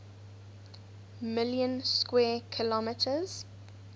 million square kilometers